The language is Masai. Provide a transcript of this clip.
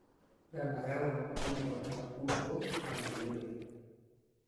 Ore enayau nauno enapukunoto naa meyioloi.